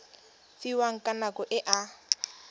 fiwang ka nako e a